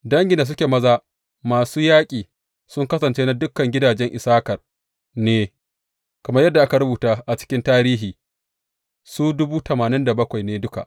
Dangin da suke maza masu yaƙi sun kasance na dukan gidajen Issakar ne, kamar yadda aka rubuta a cikin tarihi, su ne duka.